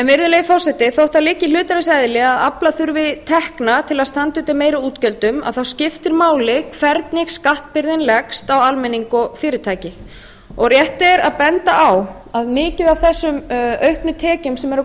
virðulegi forseti þótt það liggi í hlutarins eðli að afla þurfi tekna til að standa undir meiri útgjöldum skiptir máli hvernig skattbyrðin leggst á almenning og fyrirtæki rétt er að benda á að mikið af þessum auknu tekjum sem eru að